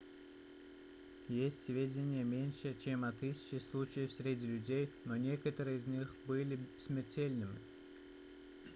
есть сведения меньше чем о тысяче случаев среди людей но некоторые из них были смертельными